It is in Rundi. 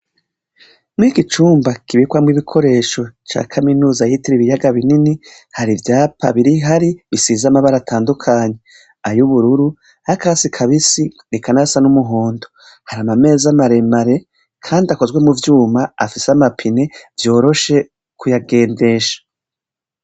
Muri iki cumba kibikwamwo ibikoresho ca kaminuza yitiriwe ibiyaga binini, hari ivyapa biri hari bisize amabara atandukanye: ay'ubururu, ay'akatasi kabisi eka n'ayasa n'umuhondo. Hari n'ameza maremare kandi akozwe mu vyuma afise amapine vyoroshe kuyagendesha.